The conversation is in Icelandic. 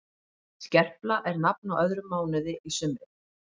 Skerpla er nafn á öðrum mánuði í sumri.